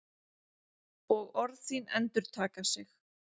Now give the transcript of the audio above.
Og orð þín endurtaka sig.